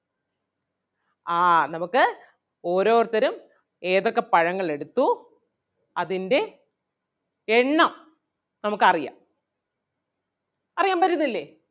ആഹ് നമുക്ക് ഓരോരുത്തരും ഏതൊക്കെ പഴങ്ങൾ എടുത്തു അതിൻ്റെ എണ്ണം നമുക്ക് അറിയാം അറിയാൻ പറ്റത്തില്ലേ?